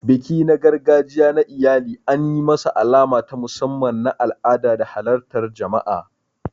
Biki na gargajiya na iyali an yi masa alama ta musamman na al'ada da halartar jama'a.